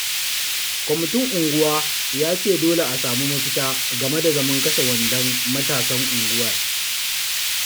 Kwamitin unguwa ya ce dole a samu mafita game da zaman kashe wandon matasan unguwar